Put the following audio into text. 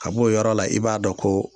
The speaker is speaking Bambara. kab'o yɔrɔ la i b'a dɔn ko